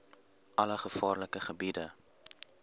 alle gevaarlike gebiede